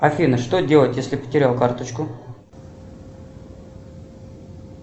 афина что делать если потерял карточку